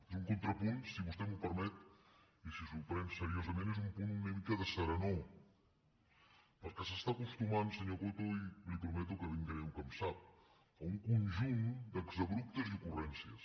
és un contrapunt si vostè m’ho permet i si s’ho pren seriosament és un punt d’una mica de serenor perquè s’està acostumant senyor coto i li prometo que ben greu que em sap a un conjunt d’exabruptes i ocurrències